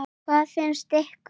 Hvað finnst ykkur?